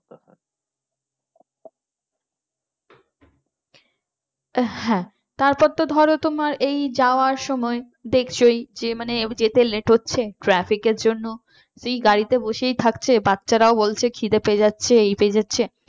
হ্যাঁ তারপর তো ধরো তোমার এই যাওয়ার সময় দেখছই যে মানে যেতে late হচ্ছে traffic এর জন্য এই গাড়িতে বসেই থাকছে বাচ্চারা ও বলছে খিদে পেয়ে যাচ্ছে এই পেয়ে যাচ্ছে।